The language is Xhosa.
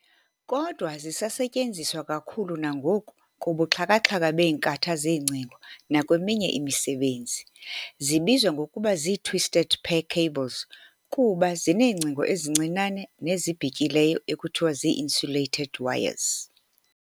Kodwa zisasetyenzeswa kakhulu nangoku kubuxhakaxhaka beenkatha zeengcingo nakweminye imisebenzi. zibizwa ngokuba zii-"twisted pair" cables kuba zineengcingo ezincinane nezibhityileyo ekuthiwa zii-insulated wires.